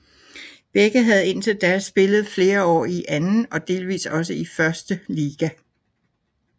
Begge havde indtil da spillet flere år i anden og delvis også i første liga